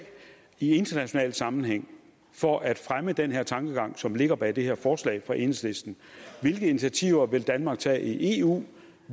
i international sammenhæng for at fremme den tankegang som ligger bag det her forslag fra enhedslisten hvilke initiativer vil danmark tage i eu